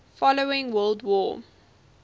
following world war